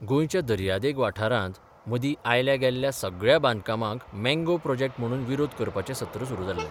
गोंयच्या दयदिग वाठारांत मर्दी आयल्या गेल्ल्या सगळ्या बांदकामांक मँगा प्रॉजॅक्ट म्हणून विरोध करपाचें सत्र सुरू जाल्ले.